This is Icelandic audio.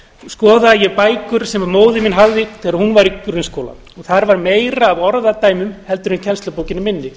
skoðaði ég bækur sem móðir mín hafði þegar hún var í grunnskóla og þar var meira af orðadæmum en í kennslubókinni minni